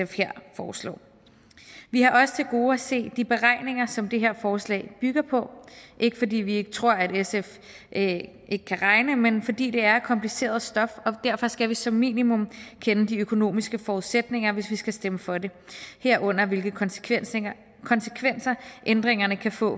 her foreslår vi har også til gode at se de beregninger som det her forslag bygger på ikke fordi vi ikke tror at sf ikke kan regne men fordi det er kompliceret stof og derfor skal vi som minimum kende de økonomiske forudsætninger hvis vi skal stemme for det herunder hvilke konsekvenser konsekvenser ændringerne kan få